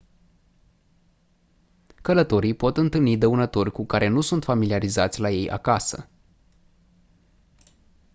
călătorii pot întâlni dăunători cu care nu sunt familiarizați la ei acasă